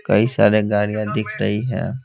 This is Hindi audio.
कई सारे गाड़ियाँ दिख रही है।